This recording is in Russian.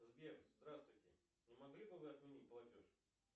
сбер здравствуйте не могли бы вы отменить платеж